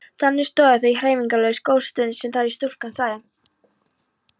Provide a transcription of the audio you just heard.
Þannig stóðu þau hreyfingarlaus góða stund þar til stúlkan sagði